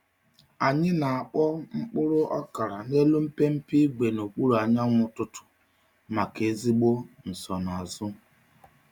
Anyị na-akpọ mkpụrụ okra n’elu mpempe ígwè n’okpuru anyanwụ ụtụtụ maka ezigbo nsonaazụ.